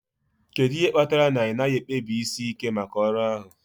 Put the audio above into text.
Kedu ihe kpatara na ị naghị ekpebisi ike maka ọrụ ahụ?